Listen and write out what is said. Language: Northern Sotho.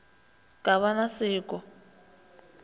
ka ba na se ko